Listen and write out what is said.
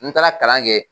N taara kalan kɛ